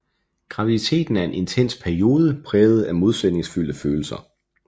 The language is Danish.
Graviditeten en intens periode præget af modsætningsfyldte følelser